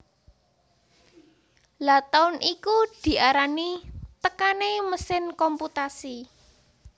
Lha taun iku diarani tekané mesin komputasi